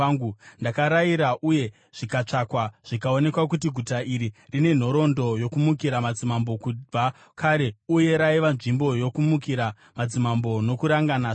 Ndakarayira uye zvikatsvakwa, zvikaonekwa kuti guta iri rine nhoroondo yokumukira madzimambo kubva kare uye raiva nzvimbo yokumukira madzimambo nokurangana zvakaipa.